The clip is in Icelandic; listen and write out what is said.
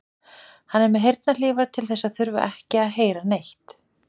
Hann er með heyrnarhlífar til þess að þurfa ekki að heyra neitt.